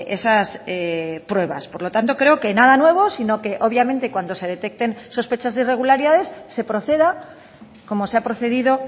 esas pruebas por lo tanto creo que nada nuevo sino que obviamente cuando se detecten sospechas de irregularidades se proceda como se ha procedido